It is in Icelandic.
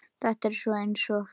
Þetta er svona eins og.